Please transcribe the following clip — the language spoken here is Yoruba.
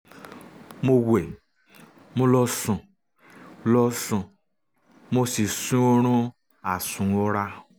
mo wẹ̀ mo lọ sùn lọ sùn mo sì sun oorun àsùnwọra